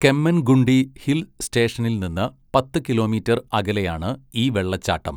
Kemmangundi hill സ്റ്റേഷനിൽ നിന്ന് പത്ത് കിലോമീറ്റർ അകലെയാണ് ഈ വെള്ളച്ചാട്ടം.